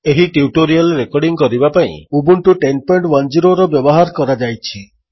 ଏହି tutorial recording କରିବା ପାଇଁ ଉବୁଣ୍ଟୁ ୧୦୧୦ର ବ୍ୟବହାର କରାଯାଇଛି